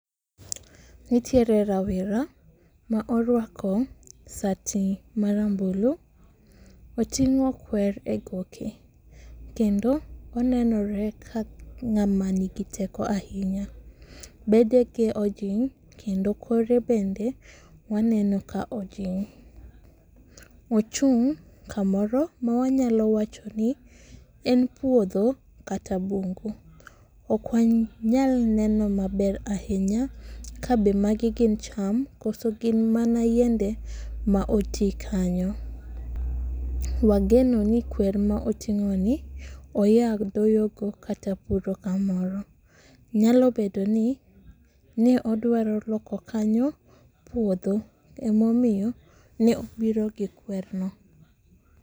Nitiere rawera ma orwako sati marambulu, oting'o kwer e goke kendo onenore ka ng'ama nigi teko ahinya, bedege ojing' kendo kore bende waneno ka ojing'. Ochung' kamoro ma wanyalo wacho ni en puodho kata bungu. Ok wanyal neno maber ahinya kabe magi gin cham koso gin mana yiende ma oti kanyo. Wageno ni kwer ma oting'oni oya doyogo kata puro kamoro. nyalo bedo ni odwaro loko kanyo puodho emomiyo ne obiro gi kwerno.